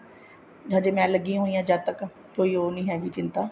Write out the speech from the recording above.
ਹਜੇ ਮੈਂ ਲੱਗੀ ਹੋਈ ਜਦ ਤੱਕ ਕੋਈ ਉਹ ਨੀ ਹੈਗੀ ਚਿੰਤਾ